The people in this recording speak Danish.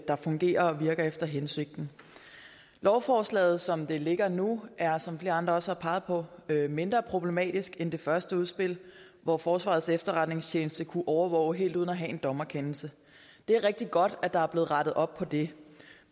der fungerer og virker efter hensigten lovforslaget som det ligger nu er som flere andre også har peget på mindre problematisk end det første udspil hvor forsvarets efterretningstjeneste kunne overvåge helt uden at have en dommerkendelse det er rigtig godt at der er blevet rettet op på det